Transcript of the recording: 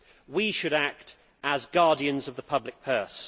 We should act as guardians of the public purse.